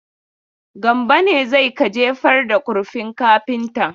Gambo ne zai ka jefar da kurfin kafinta.